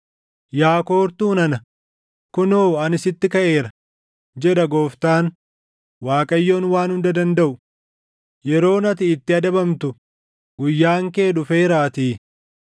“Yaa koortuu nana, kunoo ani sitti kaʼeera” jedha Gooftaan, Waaqayyoon Waan Hunda dandaʼu; “yeroon ati itti adabamtu, guyyaan kee dhufeeraatii.